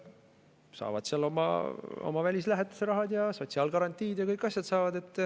Saavad seal oma välislähetuse rahad ja sotsiaalgarantiid ja kõik asjad.